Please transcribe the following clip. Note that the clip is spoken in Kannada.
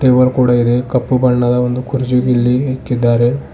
ಟೇಬಲ್ ಕೂಡ ಇದೆ ಕಪ್ಪು ಬಣ್ಣದ ಕುರ್ಚಿ ಇಲ್ಲಿ ಇಕ್ಕಿದ್ದಾರೆ.